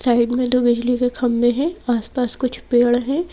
Side में दो बिजली के खंभे हैं आसपास कुछ पेड़ हैं।